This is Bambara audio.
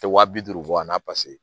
Tɛ wa bi duuru bɔ a la paseke